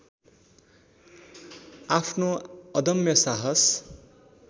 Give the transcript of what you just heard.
आफ्नो अदम्य साहस